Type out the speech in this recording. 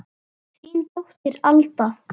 Þín dóttir, Alda.